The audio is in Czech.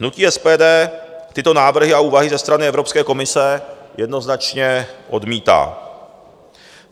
Hnutí SPD tyto návrhy a úvahy ze strany Evropské komise jednoznačně odmítá.